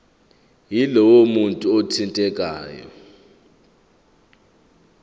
yalowo muntu othintekayo